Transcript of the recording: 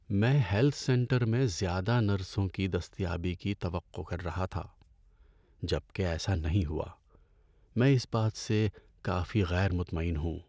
میں health centre میں زیادہ نرسوں کی دستیابی کی توقع کر رہا تھا، جب کہ ایسا نہیں ہوا، میں اس بات سے کافی غیر مطمئن ہوں۔